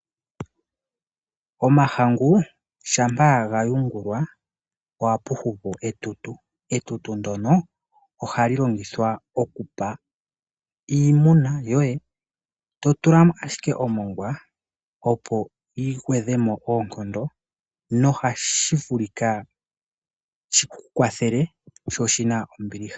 Omahangu shampa gayungulwa ohapu hupu etutu, etutu ndono ohali longithwa okupa iimuna yoye totulamo ashike omongwa opo ligeedhemo oonkondo nohashi vulika shikukwathele sho oshina ombiliha.